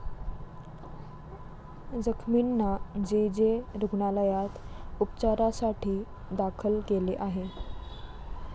जखमींना J. J. रुग्णालयात उपचारासाठी दाखल केले आहे.